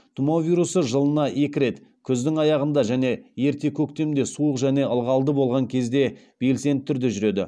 тұмау вирусы жылына екі рет күздің аяғында және ерте көктемде суық және ылғалды болған кезде белсенді түрде жүреді